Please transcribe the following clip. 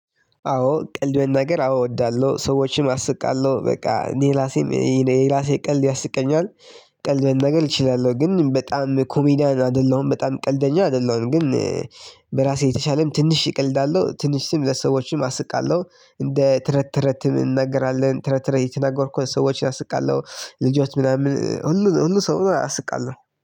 አዎ ቀልድ መናገር አዎ እወዳለሁ ሰዎችንም አስቃለሁ በቃ እኔ ራሴም እኔ ራሴ ቀልድ ያስቀኛል። ቀልድ መናገር እችላለሁ ግን በጣም ኮሜዲያን አይደለሁም በጣም ቀልደኛ አይደለሁም ግን በራሴ የተሻለም ትንሽ እቀልዳለሁ ትንሽም ለሰዎችም አስቃለሁ። እንደ ተረት ተረትም እናገራለን ተረት ተረት እየተናገርኩ ሰዎችን አስቃለሁ ልጆች ምናምን ሁሉ ሁሉ ሰው ነው አስቃለሁ